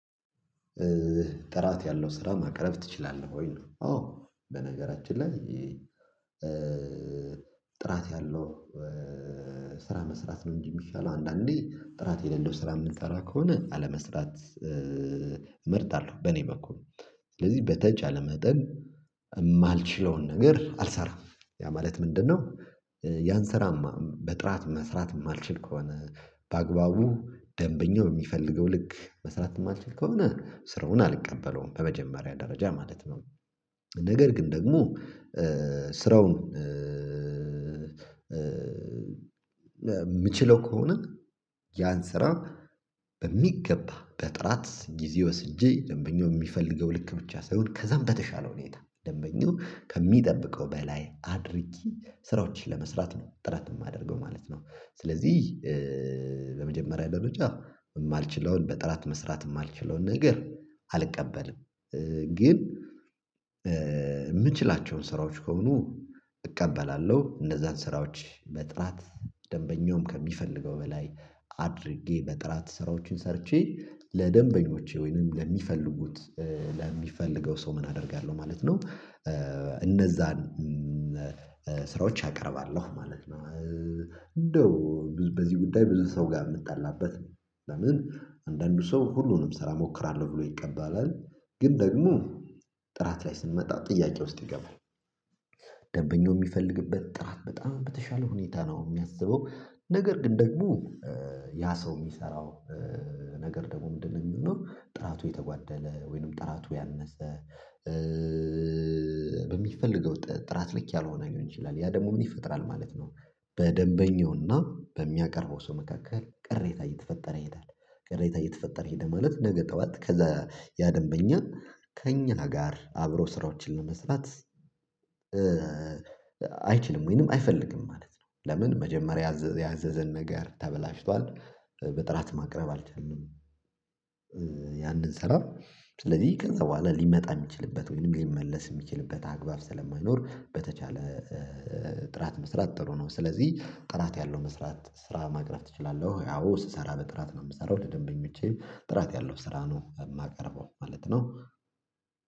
ጥራት ያለው ስራ ማቅረብ ትችላለህ ወይ? ነው አዎ በነገራችን ላይ ጥራት ያለው ስራ መስራት ነው እንጂ የሚሻለው አንዳንዴ ጥራት የሌለው ስራ የምንሰራ ከሆነ አለመስራት። እመርጣለሁ በእኔ በኩል ስለዚህ በተቻለ መጠን የማልችለውን ነገር አልሰራም። ያ ማለት ምንድነው? ያን ስራ በጥራት መስራት የማልችል ከሆነ በአግባቡ ደንበኛው በሚፈልገው ልክ መስራት የማልችል ከሆነ ስራውን አልቀበለውም በመጀመሪያ ደረጃ ማለት ነው። ነገር ግን ደግሞ ስራውን የምችለው ከሆነ ያን ስራ በሚገባ በጥራት ጊዜ ወስጄ ደንበኛው የሚፈልገው ልክ ብቻ ሳይሆን ከዛም በተሻለ ሁኔታ ደንበኛው ከሚጠብቀው በላይ አድርጌ ስራዎችን ለመስራት ነው ጥረት የማደርገው ማለት ነው። ስለዚህ በመጀመሪያ ደረጃ የማልችለውን በጥራት መስራት የማልችለውን ነገር አልቀበልም። ግን የምችላቸውን ስራዎች ከሆኑ እቀበላለሁ እነዛን ስራዎች በጥራት ደንበኛውም ከሚፈልገው በላይ አድርጌ በጥራት ስራዎችን ሰርቼ ለደንበኞቼ ወይንም ለሚፈልጉት ለሚፈልገው ሰው ምን አደርጋለሁ ማለት ነው። እነዛን ስራዎች አቀርባለሁ ማለት ነው። እንደው በዚህ ጉዳይ ብዙ ሰው ጋር የምትጠላበት። ለምን አንዳንዱ ሰው ሁሉንም ስራ እሞክራለሁ ብሎ ይቀበላል ግን ደግሞ ጥራት ላይ ስንመጣ ጥያቄ ውስጥ ይገባል። ደንበኛው የሚፈልግበት ጥራት በጣም በተሻለ ሁኔታ ነው የሚያስበው ነገር ግን ደግሞ ያ ሰው የሚሰራው ነገር ደግሞ ምንድነው የሚሆነው ጥራቱ የተጓደለ ወይንም ጥራቱ ያነሰ። በሚፈልገው ጥራት ልክ ያልሆነ ሊሆን ይችላል። ያ ደግሞ ምን ይፈጥራል ማለት ነው። በደንበኛውና በሚያቀርበው ሰው መካከል ቅሬታ እየተፈጠረ ይሄዳል ቅሬታ እየተፈጠረ ይሄዳል ማለት ነገ ጠዋት ከዛ ያ ያደንበኛ ከእኛ ጋር አብሮ ስራዎችን ለመስራት አይችልም ወይንም አይፈልግም ማለት ነው። ለምን መጀመሪያ ያዘዘን ነገር ተበላሽቷል በጥራት ማቅረብ አልቻልንም። ያንን ስራ ስለዚህ ከዛ በኋላ ሊመጣ የሚችልበት ወይም ሊመለስ የሚችልበት አግባብ ስለማይኖር በተቻለ ጥራት መስራት ጥሩ ነው። ስለዚህ ጥራት ያለው መስራት ስራ ማቅረብ ትችላለህ ወይ? አዎ ስሰራ በጥራት ነው የምሰራው ለደንበኞቼ ጥራት ያለው ስራ ነው የማቀርበው ማለት ነው።